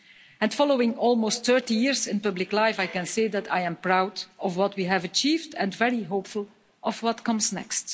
And following almost 30 years in public life, I can say that I am proud of what we have achieved and very hopeful of what comes next.